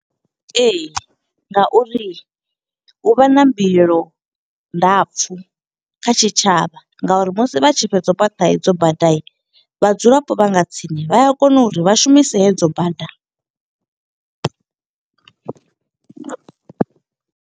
Ee, nga uri u vha na mbilelo ndapfu kha tshitshavha, nga uri musi vha tshi fhedza u fhaṱa hedzo bada. Vhadzulapo vha nga tsini, vha a kona uri vha shumise hedzo bada.